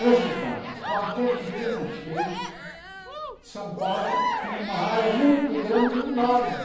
Resultado, qualquer pequena cheia, São Paulo tinha uma área muito grande inundada.